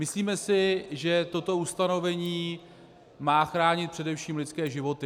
Myslíme si, že toto ustanovení má chránit především lidské životy.